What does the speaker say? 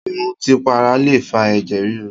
Ìmùtípara lè fa ẹ̀jẹ̀ ríru